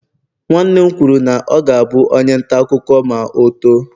nwanne m kwuru na ọ ga-abụ onye nta akụkọ ma o too